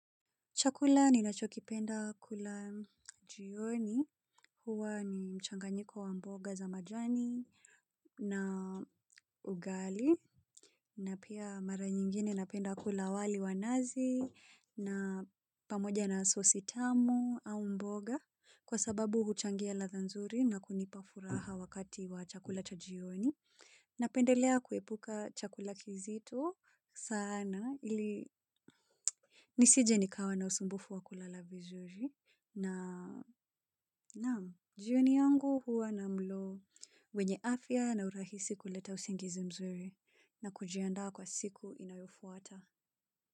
Chakula ninachokipenda kula jioni huwa ni mchanganyiko wa mboga za majani na ugali na pia mara nyingine napenda kula wali wanazi na pamoja na sosi tamu au mboga kwa sababu huchangia latha nzuri na kunipa furaha wakati wa chakula cha jioni. Napendelea kuepuka chakula kizito sana ili nisije nikawa na usumbufu wakulala vizuri na nam jioni yangu huwa na mlo wenye afya na urahisi kuleta usingizi mzuri na kujianda kwa siku inayofuata.